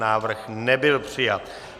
Návrh nebyl přijat.